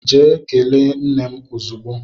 Gaa kelee nne m ozugbo!